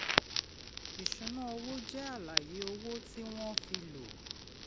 ìṣúnná owó jẹ́ àlàyé owó tí wọ́n fi lò.